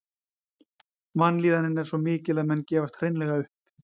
Vanlíðanin er svo mikil að menn gefast hreinlega upp.